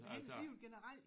Handelslivet generelt